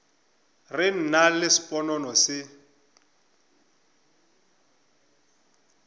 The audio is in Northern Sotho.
re nna le sponono re